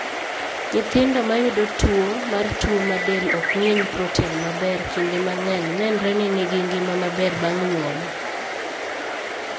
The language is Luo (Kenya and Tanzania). Nyithindo mayudo tuwo mar tuo ma del ok ng'inj proten maber kinde mang'eny nenre ni nigi ngima maber bang' nyuol.